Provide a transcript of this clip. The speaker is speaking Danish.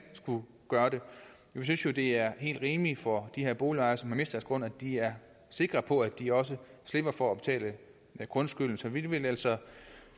skulle gøre det vi synes jo det er helt rimeligt for de her boligejere som har mistet deres grund at de er sikre på at de også slipper for at betale grundskyld så vi vil altså